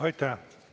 Aitäh!